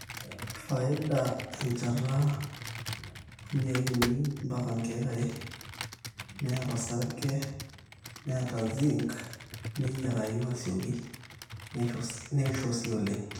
faida 1300 2000 2.5-3 6-10 neeta osarg3 o zinc neyiarayu aasioki neisho sii oleng